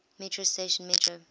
metro station metro